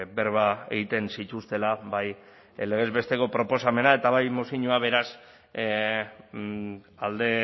berba egiten zituztela bai legez besteko proposamena eta bai mozioa beraz alde